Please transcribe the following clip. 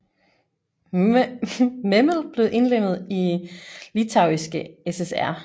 Memel blev indlemmet i Litauiske SSR